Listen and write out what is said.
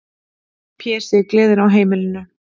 Pési, gleðin á heimilinu.